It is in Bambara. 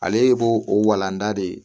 Ale b'o o walanda de ye